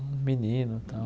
Um menino, tal.